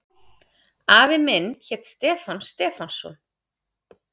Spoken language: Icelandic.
Afi minn hét Stefán Stefánsson.